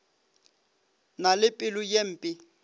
na le pelo ye mpe